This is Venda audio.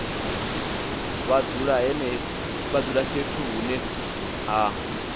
vha dzula fhethu hune ha